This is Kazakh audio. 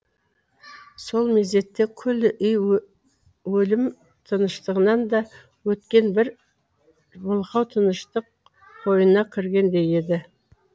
сол мезетте күллі үй өлім тыныштығынан да өткен бір мылқау тыныштық қойнына кіргендей еді